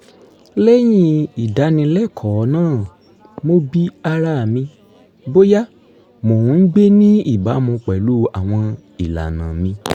lẹ́yìn ìdánilẹ́kọ̀ọ́ náà mo bi ara mi bóyá mò ń gbé ní ìbámu pẹ̀lú àwọn ìlànà mi